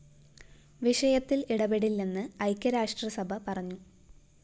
വിഷയത്തില്‍ ഇടപെടില്ലെന്ന് ഐക്യരാഷ്ട്ര സഭ പറഞ്ഞു